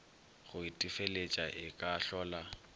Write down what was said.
go itefeletša e ka hlola